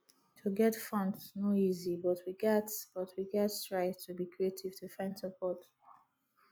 to get funds no easy but we gats but we gats try to be creative to find support